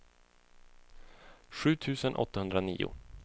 sju tusen åttahundranio